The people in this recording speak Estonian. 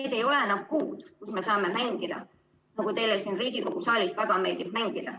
Meil ei ole enam kuud, kus me saame mängida, nagu teile siin Riigikogu saalis väga meeldib teha.